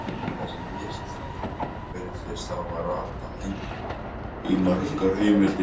Þessi misskilningur virðist hafa ratað inn í margar heimildir.